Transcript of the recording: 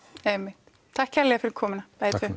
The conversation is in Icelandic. einmitt takk kærlega fyrir komuna